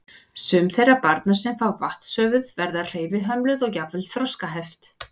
Sum þeirra barna sem fá vatnshöfuð verða hreyfihömluð og jafnvel þroskaskert.